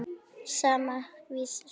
Sama, Vísir.